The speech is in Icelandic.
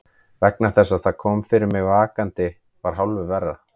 Vegna þess að það sem kom fyrir mig vakandi var hálfu verra.